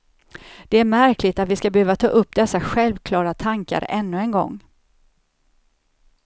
Det är märkligt att vi skall behöva ta upp dessa självklara tankar ännu en gång.